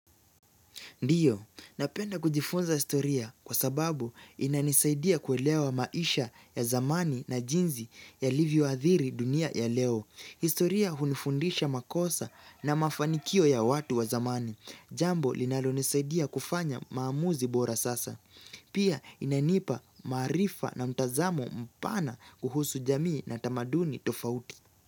Ndiyo, napenda kujifunza historia kwa sababu inanisaidia kuelewa maisha ya zamani na jinzi yalivyoadhiri dunia ya leo. Historia hunifundisha makosa na mafanikio ya watu wa zamani. Jambo linalonisaidia kufanya maamuzi bora sasa. Pia inanipa maarifa na mtazamo mpana kuhusu jamii na tamaduni tofauti.